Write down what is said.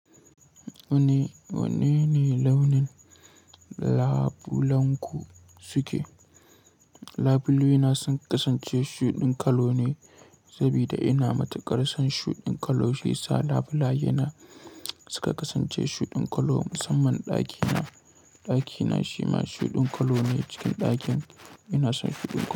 Wanne, wanne ne launin labulenku suke? Labule na sun kasance shuɗin kalo ne, saboda ina matuƙar son shuɗin kalo. Shiyasa labulaye na suka kasance shuɗin kalo. Musamman ɗakina, ɗakina shima shuɗin kalo ne. Cikin ɗakin ina son shuɗin kalo.